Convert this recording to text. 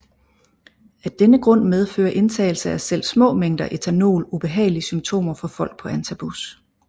Af denne grund medfører indtagelse af selv små mængder ethanol ubehagelige symptomer for folk på antabus